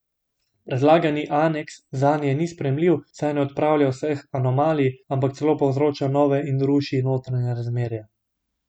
Predlagani aneks zanje ni sprejemljiv, saj ne odpravlja vseh anomalij, ampak celo povzroča nove in ruši notranja razmerja.